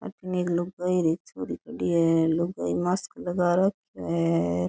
अठे एक लुगाई छोरी खड़ी है लुगाई मास्क लगा रखो है।